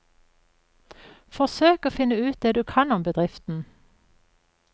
Forsøk å finne ut det du kan om bedriften.